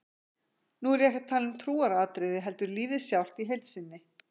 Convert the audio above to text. Nú er ég ekki að tala um trúaratriði heldur lífið sjálft í heild sinni.